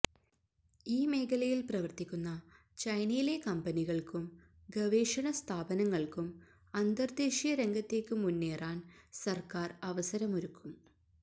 ഈ മേഖലയില് പ്രവര്ത്തിക്കുന്ന ചൈനയിലെ കമ്പനികള്ക്കും ഗവേഷണസ്ഥാപനങ്ങള്ക്കും അന്തര്ദേശീയ രംഗത്തേക്ക് മുന്നേറാന് സര്ക്കാര് അവസരമൊരുക്കും